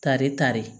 Kare tare